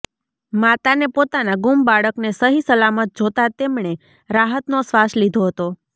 માતાને પોતાના ગુમ બાળકને સહી સલામત જોતા તેમણે રાહતનો શ્વાસ લીધો હતો